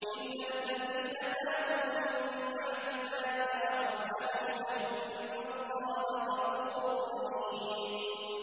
إِلَّا الَّذِينَ تَابُوا مِن بَعْدِ ذَٰلِكَ وَأَصْلَحُوا فَإِنَّ اللَّهَ غَفُورٌ رَّحِيمٌ